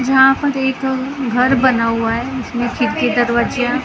जहाँ पर एक घर बना हुआ है उसमें खिड़की दरवाजे हैं ।